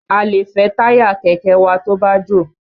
A lè fẹ́ táyà kẹ̀kẹ́ wa tó bá jò.